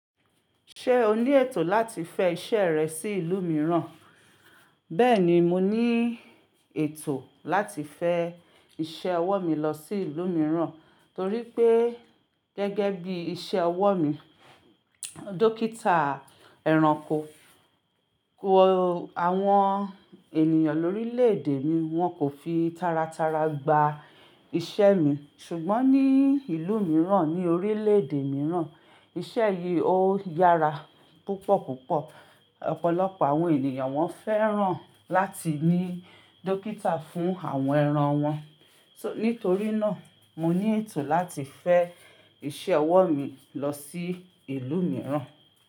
Ṣé o ní ètò láti fẹ́ iṣẹ́ rẹ sí ìlú mìíràn? Bẹ́ẹ̀ni, mo ní ètò láti fẹ́ iṣẹ́ ọwọ́ mi lọ sí ìlú mìíràn, torí pé gẹ́gẹ́ bí iṣẹ́ ọwọ́ mi, dọ́kítà ẹranko, ko àwọn ènìyàn lórílẹ̀ èdè mi wọn kò fi tara tara gba iṣẹ́ mi, ṣùgbọ́n ní ìlú mìíràn ní orílẹ̀ èdè mìíràn iṣẹ́ yìí ó yára púpọ̀ púpọ̀. Ọ̀pọ̀lọpọ̀ àwọn ènìyàn wọn fẹ́ràn láti ní dọ́kítà fún àwọn ẹran wọn. Nítorí náà, mo ní ètò láti fẹ́ iṣẹ́ ọwọ́ mi lọ sí ìlú mìíràn.